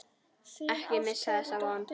Ekki missa þessa von.